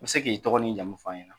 I bɛ se k'i dɔgɔ ni jamu fɔ an ɲɛna.